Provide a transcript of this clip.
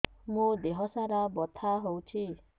ମୋ ଦିହସାରା ବଥା ହଉଚି